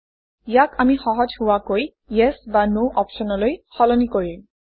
ইয়াক আমি সহজ হোৱাকৈ ইএছ বা ন অপশ্যনলৈ সলনি কৰিম